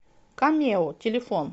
камео телефон